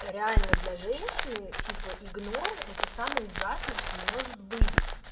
реально для женщины типо игнор это самое ужасное что может быть